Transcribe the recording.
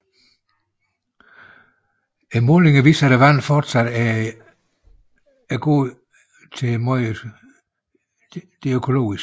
Målingerne viste at vandet fortsat er i god til meget god økologisk tilstand